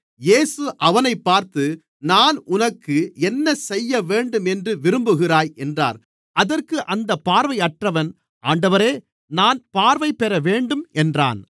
இயேசு அவனைப் பார்த்து நான் உனக்கு என்னசெய்யவேண்டும் என்று விரும்புகிறாய் என்றார் அதற்கு அந்தப் பார்வையற்றவன் ஆண்டவரே நான் பார்வைபெறவேண்டும் என்றான்